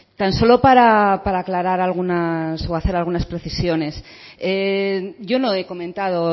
tan solo para aclarar algunas o hacer algunas precisiones yo no he comentado